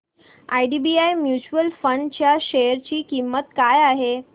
IDBI mutual fund च्या share ची किंमत काय आहे